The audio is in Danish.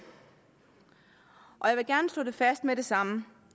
og jeg vil gerne slå fast med det samme